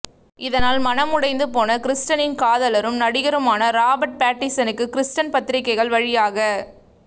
இதனால் மனம் உடைந்து போன கிரிஸ்டனின் காதலரும் நடிகருமான ராபர்ட் பேட்டின்சனுக்கு கிரிஸ்டன் பத்திரிக்கைகள் வழியாக